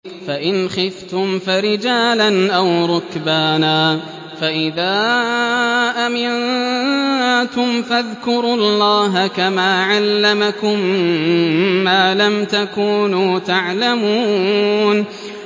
فَإِنْ خِفْتُمْ فَرِجَالًا أَوْ رُكْبَانًا ۖ فَإِذَا أَمِنتُمْ فَاذْكُرُوا اللَّهَ كَمَا عَلَّمَكُم مَّا لَمْ تَكُونُوا تَعْلَمُونَ